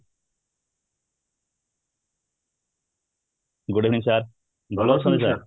good evening sir, ଭଲ ଅଛନ୍ତି sir